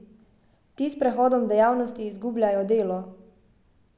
Ti s prehodom dejavnosti izgubljajo delo.